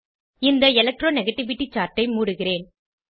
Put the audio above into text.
இந்த electro negativity chart ஐ மூடுகிறேன்